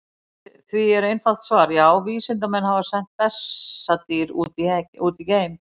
Við því er til einfalt svar: Já, vísindamenn hafa sent bessadýr út í geim!